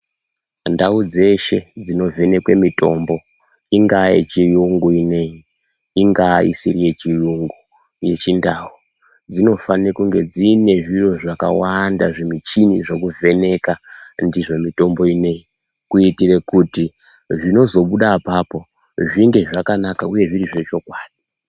Ndau dzeshe dzinovhenekwe mitombo ingaa yechiyungu inei, ingaa isiri yechiyungu, yechindau, dzinofane kunge dziine zviro zvakawanda zvimuchini zvekuvheneka ndizvo mitombo inei. Kuitire kuti zvinozobude apapo zvinge zvakanaka uye zviri zvechokwadi.